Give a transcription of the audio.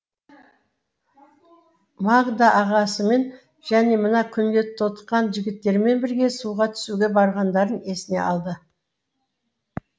магда ағасымен және мына күнге тотыққан жігіттермен бірге суға түсуге барғандарын есіне алды